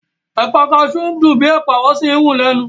Ẹ̀pà kaṣú dùn bíi Ẹ̀pà wọ́n sì ń rún lẹ́nu